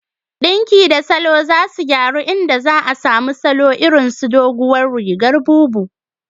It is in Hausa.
Ɗinki da salo za su gyaru, inda za a samu salo irin su "Doguwar rigar bubu"